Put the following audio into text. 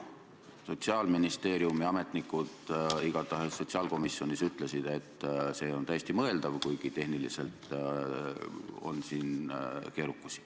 Sotsiaalministeeriumi ametnikud igatahes sotsiaalkomisjonis ütlesid, et see on tõesti mõeldav, kuigi tehniliselt on see veidi keerukas.